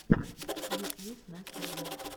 ютьюб настя блог